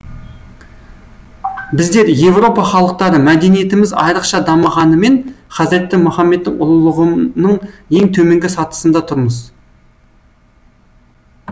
біздер еуропа халықтары мәдениетіміз айрықша дамығанымен хазіреті мұхаммедтің ұлылығының ең төменгі сатысында тұрмыз